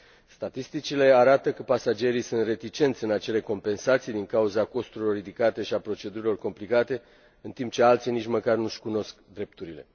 Statisticile arată că pasagerii sunt reticenți la acele compensații din cauza costurilor ridicate și a procedurilor complicate, în timp ce alții nici măcar nu și cunosc drepturile.